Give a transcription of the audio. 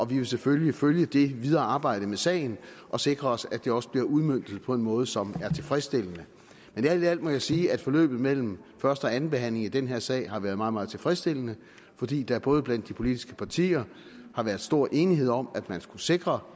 vil selvfølgelig følge det videre arbejde med sagen og sikre os at det også bliver udmøntet på en måde som er tilfredsstillende men alt i alt må jeg sige at forløbet mellem første og andenbehandlingen i den her sag har været meget meget tilfredsstillende fordi der både blandt de politiske partier har været stor enighed om at man skulle sikre